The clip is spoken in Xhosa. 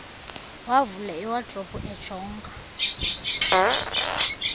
wavula iwadrobe ejonga